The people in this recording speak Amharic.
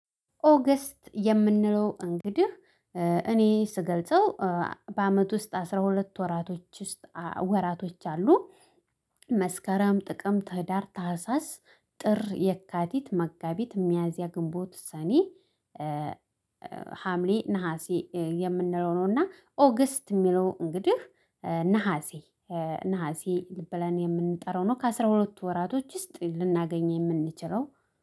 ኦገስት የምንለው እንግዲህ እኔ ስገልጸው በአመት ውስጥ አስራ ሁለት ወራቶች ውስጥ ወራቶች አሉ። መስከረም፣ ጥቅምት፣ ህዳር፣ ታህሳስ፣ ጥር፣ የካቲት፣ መጋቢት፣ ሚያዚያ፣ ግንቦት፣ ሰኔ፣ ሀምሌ፣ ነሀሴ የምንለው ነው እና ኦገስት የሚለው እንግዲህ ነሀሴ ነሀሴ ብለን የምንጠራው ነው። ከአስራ ሁለቱ ወራቶች ውስጥ ልናገኝ የምንችለው